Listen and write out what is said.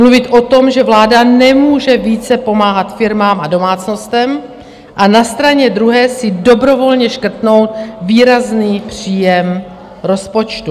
Mluvit o tom, že vláda nemůže více pomáhat firmám a domácnostem, a na straně druhé si dobrovolně škrtnout výrazný příjem rozpočtu.